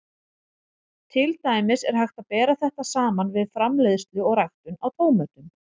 Til dæmis er hægt að bera þetta saman við framleiðslu og ræktun á tómötum.